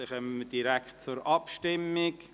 Somit kommen wir direkt zur Abstimmung.